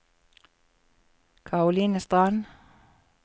Karoline Strand